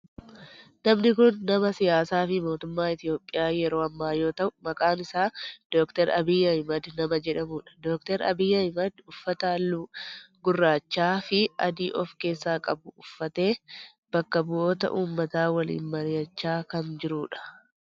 Namni kun nama siyaasaa fi mootummaa Itiyoophiyaa yeroo ammaa yoo ta'u maqaan isaa Dr. Abiyi Ahimeed nama jedhamudha. Dr. Abiyi Ahimeed uffata halluu gurraachaa fi adii of keessaa qabu uffatee bakka bu'oota ummataa waliin mari'achaa kan jirudha.